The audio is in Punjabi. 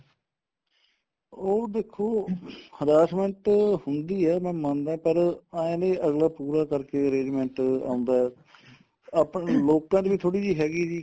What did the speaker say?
ਉਹ ਦੇਖੋ harassment ਹੁੰਦੀ ਏ ਮੈਂ ਮੰਨਦਾ ਪਰ ਏ ਨੀਂ ਅਗਲਾ ਪੂਰਾ ਕਰਕੇ arrangement ਆਉਂਦਾ ਆਪਣੇ ਲੋਕਾ ਚ ਵੀ ਥੋੜੀ ਜੀ ਹੈਗੀ ਜੀ